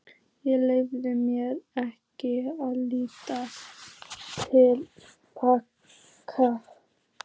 Ég leyfi mér ekki að líta til baka.